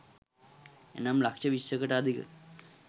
එනම් ලක්ෂ විස්සකට අධික